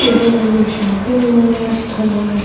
ಇದು ಒಂದು ಶಾಪಿಂಗ್ ಮಾಡುವ ಸ್ಥಳ --